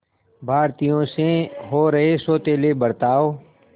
भारतीयों से हो रहे सौतेले बर्ताव